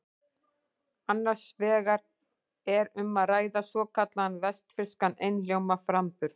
Annars vegar er um að ræða svokallaðan vestfirskan einhljóðaframburð.